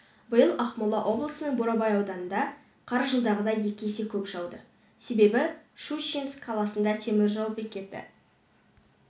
биыл ақмола облысының бурабай ауданына қар жылдағыдан екі есе көп жауды себебі щучинск қаласындағы теміржол бекеті